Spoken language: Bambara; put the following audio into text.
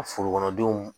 Forokɔnɔdenw